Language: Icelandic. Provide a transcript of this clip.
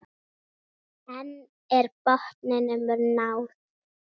En er botninum náð?